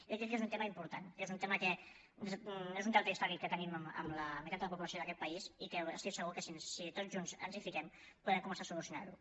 i crec que és un tema important que és un deute històric que tenim amb la meitat de la població d’aquest país i estic segur que si tots junts ens hi fiquem podem començar a solucionar lo